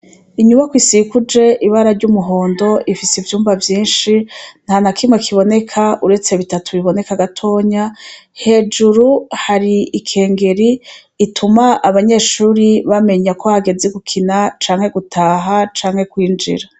Inyubako isikuje ibara ry'umuhondo ifise ivyumba vyinshi nta na kimwe kiboneka uretse bitatu biboneka gatonya hejuru hari ikengeri ituma abanyeshuri bamenya ko hagezi gukina canke gutaha canke kwinjira.